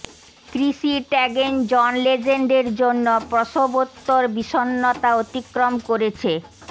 ক্রিসি Teigen John লেজেন্ডের জন্য প্রসবোত্তর বিষণ্নতা অতিক্রম করেছে